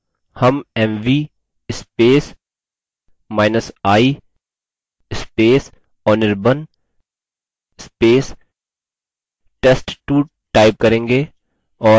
हम mvi anirban test2 type करेंगे और enter दबायेंगे